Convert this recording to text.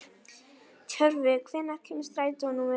Tjörvi, hvenær kemur strætó númer fjórtán?